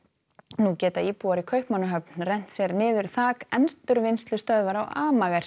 nú geta íbúar í Kaupmannahöfn rennt sér niður þak endurvinnslustöðvar á